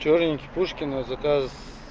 чернёнький пушкина заказ